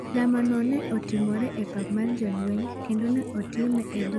Lamono ne otimore e pap mar jolwenyi, kendo ne otime e dho arabu gi latin